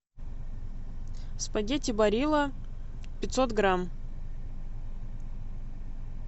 спагетти барилла пятьсот грамм